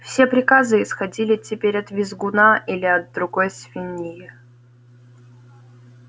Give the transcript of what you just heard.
все приказы исходили теперь от визгуна или от другой свиньи